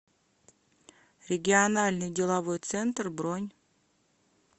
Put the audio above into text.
региональный деловой центр бронь